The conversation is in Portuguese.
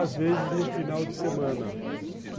às vezes no final de semana.